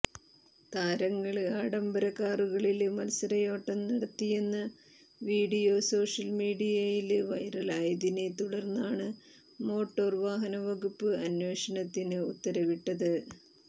താരങ്ങള് ആഡംബര കാറുകളില് മത്സരയോട്ടം നടത്തിയെന്ന വീഡിയോ സോഷ്യല് മീഡിയയില് വൈറലായതിനെ തുടര്ന്നാണ് മോട്ടോര് വാഹനവകുപ്പ് അന്വേഷണത്തിന് ഉത്തരവിട്ടത്